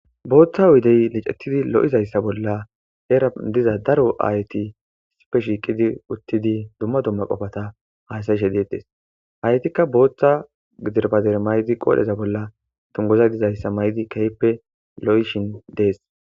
booththa wudey licetidi lo7izayssa bolla heera diza daro aayti sipe shiiqidi uttidi dumma dumma qofata haysayishe deedees haytikka booththa gidirbader maydi qoodheza bolla tungoza dizayssa may7di kayppe lo7ishin dees